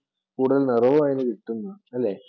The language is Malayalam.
കൂടുതൽ നിറവും അതിനു കിട്ടും, അല്ലെ?